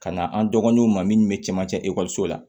Ka na an dɔgɔninw ma minnu bɛ camancɛ ekɔliso la